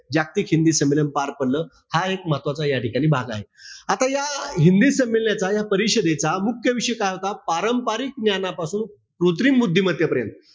जागतिक हिंदी संमेलन पार पडलं. हा एक महत्वाचा या ठिकाणी भाग आहे. आता या हिंदी संमेलनाचा, या परिषदेचा मुख्य उद्देश्य काय होता? पारंपरिक ज्ञानापासून कृत्रिम बुद्धिमत्तेपर्यंत.